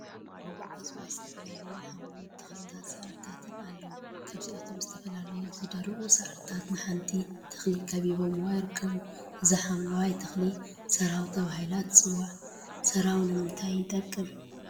እጽዋት ዝተፈላለዩ ሓምለዎት ተክሊታትን ሳዕሪታትን አለው፡፡ ካብአቶም ዝተፈላለዩ ዝደረቁ ሳዕሪታት ንሓንቲ ተክሊ ከቢበምዋ ይርከቡ፡፡ እዛ ሓምለወይቲ ተክሊ ሰራው ተባሂላ ትፅዋዕ፡፡ ሰራው ንምንታይ ይጠቅም?